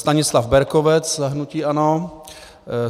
Stanislav Berkovec za hnutí ANO